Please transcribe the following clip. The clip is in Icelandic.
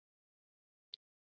Lillý: Ekkert vont?